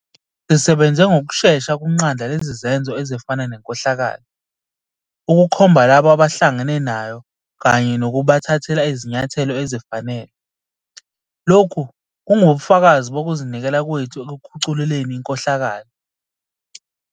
Sisebenze ngokushesha ukunqanda lezi zenzo ezifana nenkohlakalo, ukukhomba labo abahlangene nayo kanye nokubathathela izinyathelo ezifanele. Lokhu kungubufakazi bokuzinikela kwethu ekukhucululeni inkohlakalo.